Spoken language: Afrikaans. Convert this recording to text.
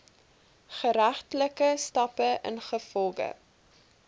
geregtelike stappe ingevolge